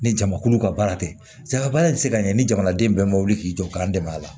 Ni jamakulu ka baara tɛ se ka baara in se ka ɲɛ ni jamana den bɛɛ ma wuli k'i jɔ k'an dɛmɛ a la